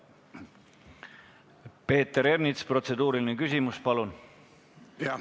Peeter Ernits, protseduuriline küsimus, palun!